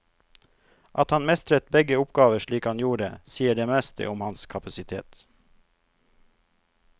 At han mestret begge oppgaver slik han gjorde, sier det meste om hans kapasitet.